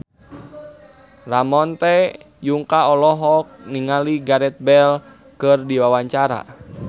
Ramon T. Yungka olohok ningali Gareth Bale keur diwawancara